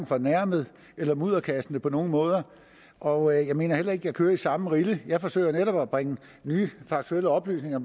fornærmet eller mudderkastende på nogen måde og jeg mener heller ikke at jeg kører i samme rille jeg forsøger netop at bringe nye faktuelle oplysninger